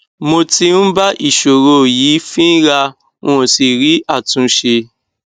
mo tí ń bá ìsòro yìí fínra n ò sì rí àtúnṣe